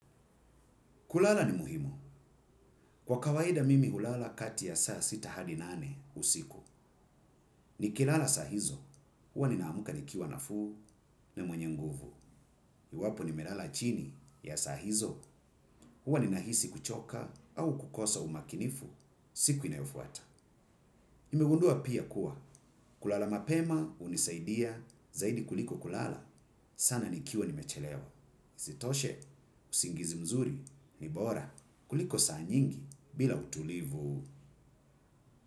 Kulala ni muhimu. Kwa kawaida mimi ulala kati ya saa sita hadi nane usiku. Ni kilala sahizo. Huwa ninaamuka nikiwa nafuu na mwenye nguvu. Iwapo ni melala chini ya sahizo. Huwa ninahisi kuchoka au kukosa umakinifu. Siku inayofuata nimegunndua pia kuwa kulala mapema unisaidia zaidi kuliko kulala. Sana nikiwa nimechelewa. Isitoshe, usingizi mzuri. Ni bora. Kuliko saa nyingi bila utulivu.